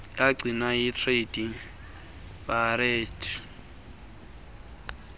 yagcinwa yicredit bureau